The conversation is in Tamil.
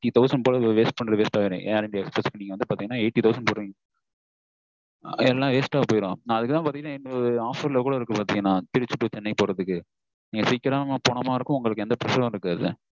thousand dollars